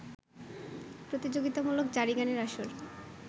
প্রতিযোগিতামূলক জারিগানের আসর